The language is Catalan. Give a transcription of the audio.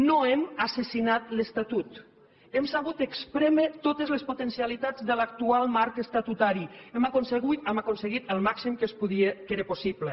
no hem assassinat l’estatut hem sabut esprémer totes les potencialitats de l’actual marc estatutari hem aconseguit el màxim que es podia que era possible